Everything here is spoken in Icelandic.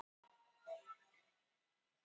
Og hvað veistu þá nema að hún sé að sjóða barnalík?